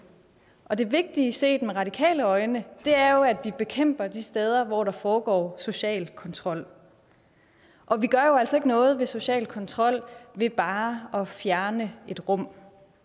og det vigtige set med radikale øjne er jo at vi bekæmper de steder hvor der foregår social kontrol og vi gør jo altså ikke noget ved social kontrol ved bare at fjerne et rum